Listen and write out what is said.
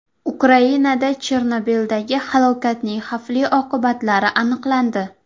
Ukrainada Chernobildagi halokatning xavfli oqibatlari aniqlandi.